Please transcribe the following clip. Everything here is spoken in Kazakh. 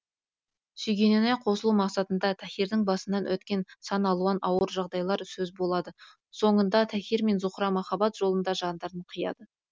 сүйгеніне қосылу мақсатында таһирдың басынан өткерген сан алуан ауыр жағдайлар сөз болады соңында таһир мен зуһра махаббат жолында жандарын қияды